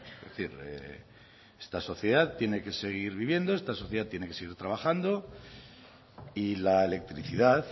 es decir esta sociedad tiene que seguir viviendo esta sociedad tiene que seguir trabajando y la electricidad